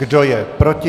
Kdo je proti?